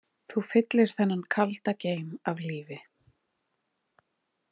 Þú fylltir þennan kalda geim af lífi.